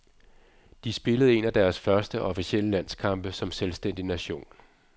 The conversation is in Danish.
De spillede en af deres første officielle landskampe som selvstændig nation.